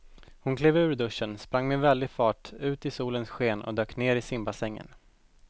Hon klev ur duschen, sprang med väldig fart ut i solens sken och dök ner i simbassängen.